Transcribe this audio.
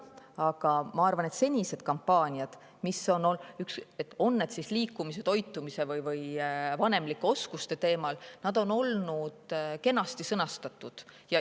Aga ma arvan, et senised kampaaniad, mis on tehtud, olgu liikumise, toitumise või vanemlike oskuste teemal, on olnud kenasti sõnastatud.